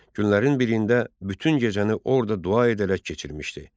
Günlərin birində bütün gecəni orda dua edərək keçirmişdi.